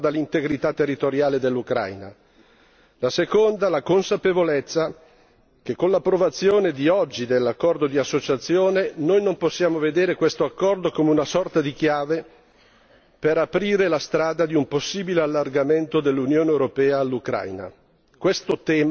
La prima riguarda l'integrità territoriale dell'Ucraina, la seconda la consapevolezza che con l'approvazione di oggi dell'accordo di associazione noi non possiamo vedere questo accordo come una sorta di chiave per aprire la strada di un possibile allargamento dell'Unione europea all'Ucraina.